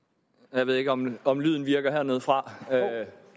jeg ved ikke om om lyden virker hernedefra